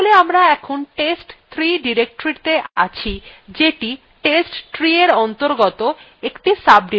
তাহলে আমরা এখন test3 directoryত়ে আছি যেটি testtreeএর অন্তর্গত একটি sodirectory